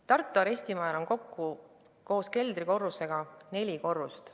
Tartu arestimajal on kokku koos keldrikorrusega neli korrust.